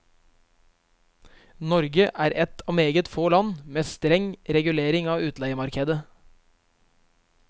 Norge er et av meget få land med streng regulering av utleiemarkedet.